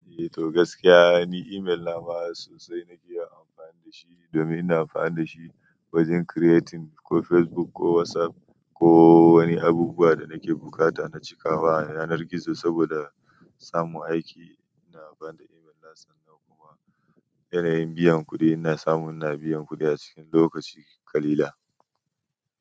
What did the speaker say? Eh to gaskiya ni email na ma sosai na iya amfani da shi domin ina amfani da shi wajen creating ko Facebook ko WhatsApp ko wani abubuwa da nake buƙata na cika wa a yanar gizo saboda samun aiki. Ina amfani da email na sannan kuma yanayin biyan kuɗi ina samu ina biyan kuɗi a cikin lokaci ƙalilan.